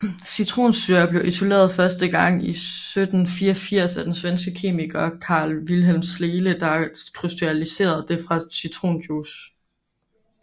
Citronsyre blev isoleret første gang i 1784 af den svenske kemiker Carl Wilhelm Scheele der krystalliserede det fra citronjuice